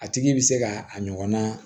A tigi bɛ se ka a ɲɔgɔnna